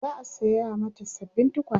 za'a saya mata sababbin tukwane